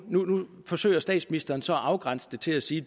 forsøger statsministeren så at afgrænse det til at sige